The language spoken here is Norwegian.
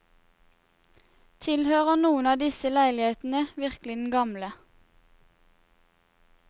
Tilhører noen av disse leilighetene virkelig den gamle?